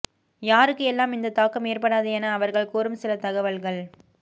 யாருக்கு எல்லாம் இந்த தாக்கம் ஏற்படாது என அவர்கள் கூறும் சில தகவல்கள்